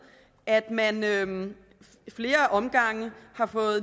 at man ad flere omgange